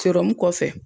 kɔfɛ